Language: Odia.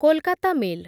କୋଲକାତା ମେଲ୍